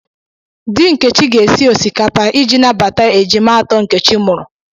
Dị Nkechi ga-esi osikapa iji nabata ejima atọ Nkechi mụrụ.